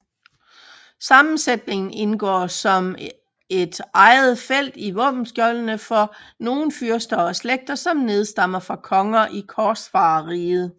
Sammensætningen indgår som et eget felt i våbenskjoldene for nogle fyrster og slægter som nedstammer fra konger i korsfarerriget